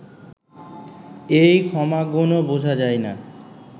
এই ক্ষমাগুণও বুঝা যায় না